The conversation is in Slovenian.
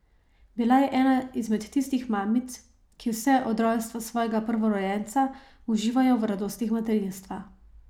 Bila je ena izmed tistih mamic, ki vse od rojstva svojega prvorojenca uživajo v radostih materinstva.